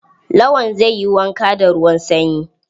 Lawan zai yi wanka da ruwan sanyi.